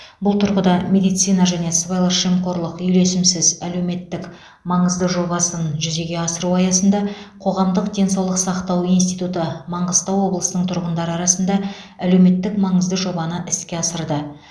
бұл тұрғыда медицина және сыбайлас жемқорлық үйлесімсіз әлеуметтік маңызды жобасын жүзеге асыру аясында қоғамдық денсаулық сақтау институты маңғыстау облысының тұрғындары арасында әлеуметтік маңызды жобаны іске асырды